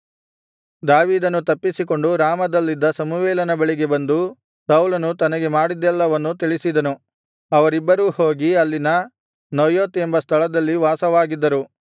ದಾವೀದನು ತಪ್ಪಿಸಿಕೊಂಡು ರಾಮದಲ್ಲಿದ್ದ ಸಮುವೇಲನ ಬಳಿಗೆ ಬಂದು ಸೌಲನು ತನಗೆ ಮಾಡಿದ್ದೆಲ್ಲವನ್ನು ತಿಳಿಸಿದನು ಅವರಿಬ್ಬರೂ ಹೋಗಿ ಅಲ್ಲಿನ ನಯೋತ್ ಎಂಬ ಸ್ಥಳದಲ್ಲಿ ವಾಸವಾಗಿದ್ದರು